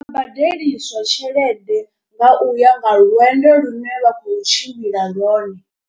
Badeliswa tshelede nga uya nga lwendo lune vha khou tshimbila lwone.